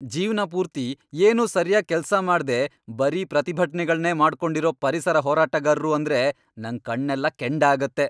ಜೀವ್ನ ಪೂರ್ತಿ ಏನೂ ಸರ್ಯಾಗ್ ಕೆಲ್ಸ ಮಾಡ್ದೇ ಬರೀ ಪ್ರತಿಭಟ್ನೆಗಳ್ನೇ ಮಾಡ್ಕೊಂಡಿರೋ ಪರಿಸರ ಹೋರಾಟಗಾರ್ರು ಅಂದ್ರೆ ನಂಗ್ ಕಣ್ಣೆಲ್ಲ ಕೆಂಡ ಆಗತ್ತೆ.